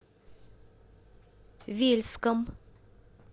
вельском